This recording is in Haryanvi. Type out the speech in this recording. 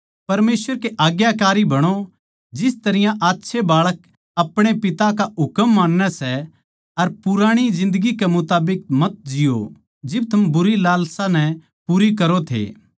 परमेसवर के आज्ञाकारी बणो जिस तरियां अच्छे बाळक अपणे पिता का हुकम मान्नै सै अर पुराणी जिन्दगी के मुताबिक मत जिओ जिब थम बुरी लालसा नै पूरी करो थे